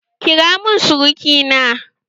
Kira mun suruki na!